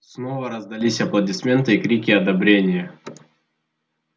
снова раздались аплодисменты и крики одобрения